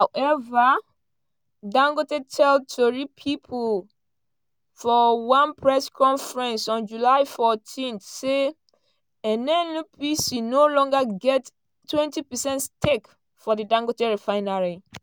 however dangote tell tori pipo for one press conference on july 14 say “nnpc no longer get 20 percent stake for di dangote refinery